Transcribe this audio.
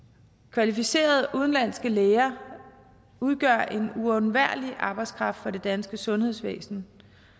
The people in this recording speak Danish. kvalificerede udenlandske læger udgør en uundværlig arbejdskraft i det danske sundhedsvæsen